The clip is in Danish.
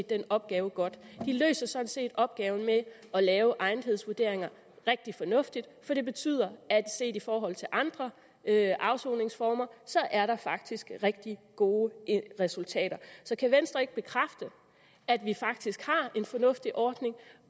den opgave godt de løser sådan set opgaven med at lave egnethedsvurderinger rigtig fornuftigt for det betyder at set i forhold til andre afsoningsformer er der faktisk rigtig gode resultater så kan venstre ikke bekræfte at vi faktisk har en fornuftig ordning